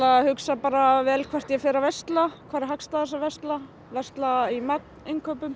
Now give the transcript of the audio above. hugsa bara vel hvert ég fer að versla hvar er hagstæðast að versla versla í magninnkaupum